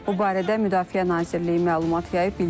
Bu barədə Müdafiə Nazirliyi məlumat yayıb.